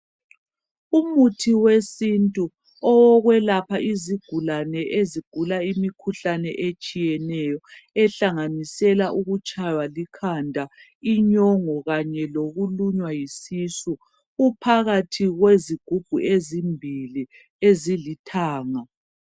Umuthi wesintu owokwelapha uzigulani ezigula imikhuhlane etshiyeneyo ehlanganisela ukutshaywa likhanda, inyongo kanye lokulunywa yisisu, uphakathi kwezigubhu ezimbili ezilithanga.